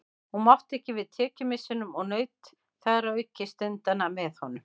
Hún mátti ekki við tekjumissinum og naut þar að auki stundanna með honum.